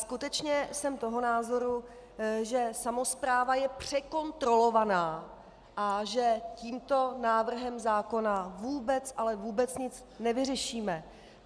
Skutečně jsem toho názoru, že samospráva je překontrolovaná a že tímto návrhem zákona vůbec, ale vůbec nic nevyřešíme.